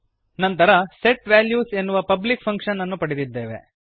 ನಂತರ set values ಎನ್ನುವ public function ಪಡೆದಿದ್ದೇವೆ